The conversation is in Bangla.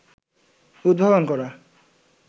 উদ্ভাবন করা